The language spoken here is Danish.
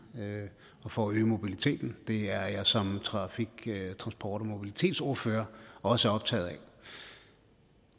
og for at øge mobiliteten det er jeg som trafik transport og mobilitetsordfører også optaget af